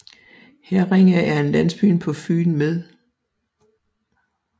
Herringe er en landsby på Fyn med